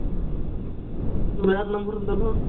வேற number இருந்தாலும்